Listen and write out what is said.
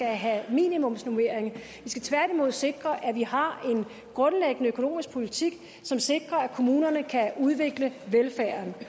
have minimumsnormering vi skal tværtimod sikre at vi har en grundlæggende økonomisk politik som sikrer at kommunerne kan udvikle velfærden det